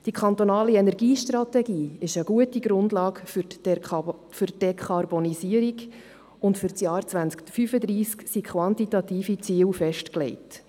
Die kantonale Energiestrategie ist eine gute Grundlage für die Dekarboniserung, und für das Jahr 2035 sind quantitative Ziel festgelegt.